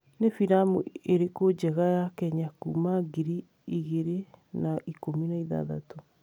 nĩ filamu ĩrĩkũnjega ya Kenya kuuma ngiri igĩrĩ na ikũmi na ithathatũ